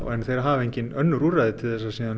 en þeir hafa engin önnur úrræði til að